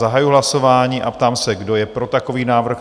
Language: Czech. Zahajuji hlasování a ptám se, kdo je pro takový návrh?